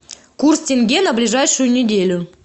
курс тенге на ближайшую неделю